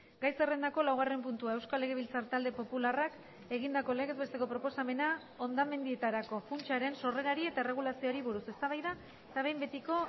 gai zerrendako laugarren puntua euskal legebiltzar talde popularrak egindako legez besteko proposamena hondamendietarako funtsaren sorrerari eta erregulazioari buruz eztabaida eta behin betiko